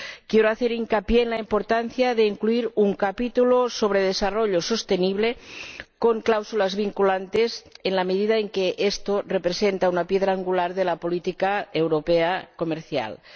Quiero hacer hincapié en la importancia de incluir un capítulo sobre desarrollo sostenible, con cláusulas vinculantes, en la medida en que esto representa una piedra angular de la política comercial europea.